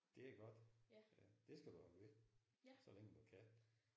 Det er godt. Det skal du holde ved så længe du kan